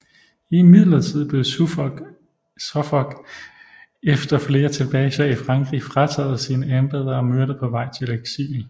Imidlertid blev Suffolk efter flere tilbageslag i Frankrig frataget sine embeder og myrdet på vej til eksil